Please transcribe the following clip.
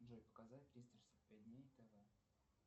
джой показать триста шестьдесят пять дней тв